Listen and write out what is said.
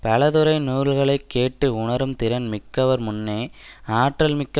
பலதுறை நூல்களை கேட்டு உணரும் திறன் மிக்கவர்முன்னே ஆற்றல்மிக்க